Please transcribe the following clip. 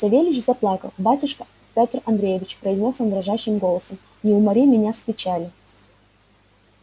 савельич заплакал батюшка петр андреич произнёс он дрожащим голосом не умори меня с печали